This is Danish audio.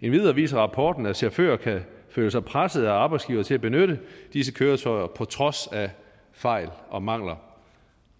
endvidere viser rapporten at chauffører kan føle sig presset af arbejdsgivere til at benytte disse køretøjer på trods af fejl og mangler